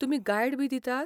तुमी गायडबी दितात?